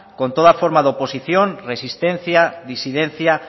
con toda forma de oposición resistencia disidencia